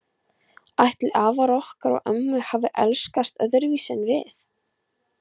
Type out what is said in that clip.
Ætli afar okkar og ömmur hafi elskast öðruvísi en við?